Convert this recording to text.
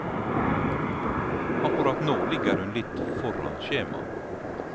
Akkurat nå ligger hun litt foran skjema.